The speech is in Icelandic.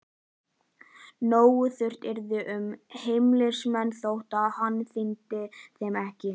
Nógu þröngt yrði um heimilismenn þótt hann íþyngdi þeim ekki.